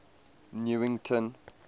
newington